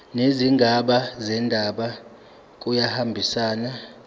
nezigaba zendaba kuyahambisana